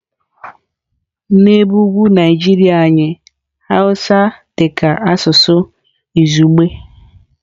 N'ebe ugwu Naijiria anyị Hausa dị ka asụsụ izugbe.